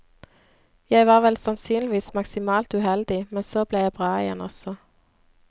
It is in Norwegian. Jeg var vel sannsynligvis maksimalt uheldig, men så ble jeg bra igjen også.